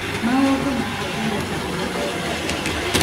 Maũndũ matiathire ta ũrĩa nderĩgĩrĩire